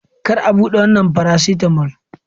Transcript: Kar a bude wannan faracetamol!